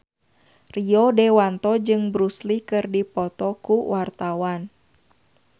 Rio Dewanto jeung Bruce Lee keur dipoto ku wartawan